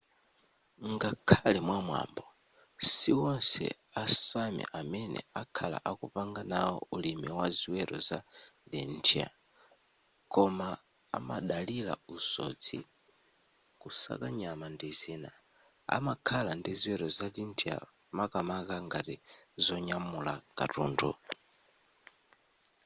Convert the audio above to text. ngakhale mwamwambo siwonse a sámi amene akhala akupanga nawo ulimi wa ziweto za reindeer koma amadalira usodzi kusaka nyama ndi zina amakhala ndi ziweto za reindeer makamaka ngati zonyamula katundu